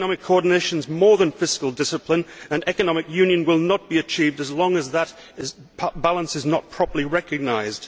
Economic coordination is more than fiscal discipline and economic union will not be achieved as long as that balance is not properly recognised.